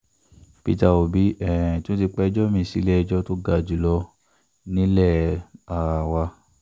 peter òbí um tún ti pẹjọ́ mi-ín sílé-ẹjọ́ tó ga jù lọ nílé um wa